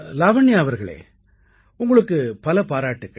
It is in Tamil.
லாவண்யா அவர்களே உங்களுக்கு பல பாராட்டுக்கள்